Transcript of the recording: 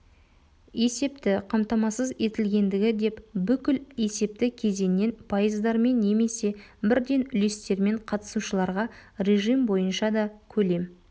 есепті қамтамасыз етілгендігі деп бүкіл есепті кезеңнен пайыздармен немесе бірден үлестермен қатысушыларға режим бойынша да көлем